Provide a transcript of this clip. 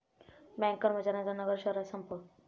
bank कर्मचाऱ्यांचा नगर शहरात संप